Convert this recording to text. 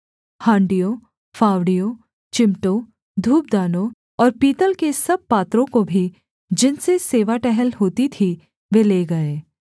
हाँड़ियों फावड़ियों चिमटों धूपदानों और पीतल के सब पात्रों को भी जिनसे सेवा टहल होती थी वे ले गए